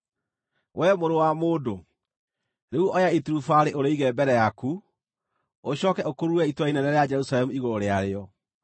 “Wee, mũrũ wa mũndũ, rĩu oya iturubarĩ ũrĩige mbere yaku, ũcooke ũkurure itũũra inene rĩa Jerusalemu igũrũ rĩarĩo;